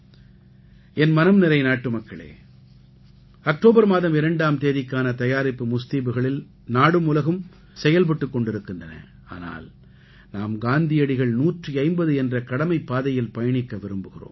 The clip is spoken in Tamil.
எனம் மனம்நிறை நாட்டுமக்களே அக்டோபர் மாதம் 2ஆம் தேதிக்கான தயாரிப்பு முஸ்தீபுகளில் நாடும் உலகும் செயல்பட்டுக் கொண்டிருக்கின்றன ஆனால் நாம் காந்தியடிகள் 150 என்ற கடமைப் பாதையில் பயணிக்க விரும்புகிறோம்